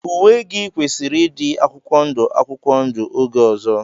Uwe gị kwesịrị ịdị akwụkwọ ndụ akwụkwọ ndụ oge ọzọ!